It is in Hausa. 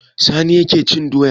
Sani ne yake cin doya.